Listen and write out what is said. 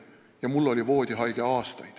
Ja mul oli aastaid voodihaige kodus.